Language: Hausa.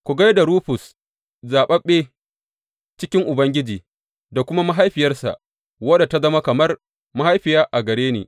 Ku gai da Rufus zaɓaɓɓe cikin Ubangiji, da kuma mahaifiyarsa, wadda ta zama kamar mahaifiya a gare ni.